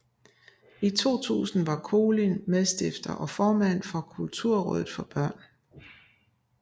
I 2000 var Kolind medstifter og formand for Kulturrådet for Børn